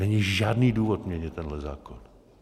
Není žádný důvod měnit tenhle zákon.